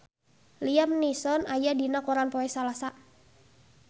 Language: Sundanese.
Liam Neeson aya dina koran poe Salasa